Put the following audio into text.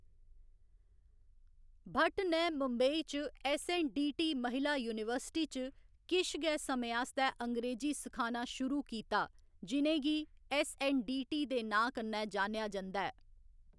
भट्ट ने मुंबई च ऐस्सऐन्नडीटी महिला यूनीवर्सिटी च किश गै समें आस्तै अंग्रेजी सखाना शुरू कीता जि'नें गी ऐस्सऐन्नडीटी दे नांऽ कन्नै जानेआ जंदा ऐ।